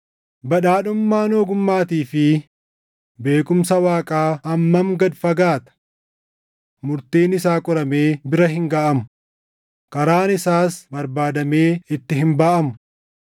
Badhaadhummaan ogummaatii fi beekumsa Waaqaa hammam gad fagaata! Murtiin isaa qoramee bira hin gaʼamu! Karaan isaas barbaadamee itti hin baʼamu!